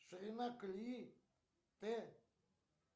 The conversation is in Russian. ширина колеи т